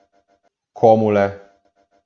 Komu le?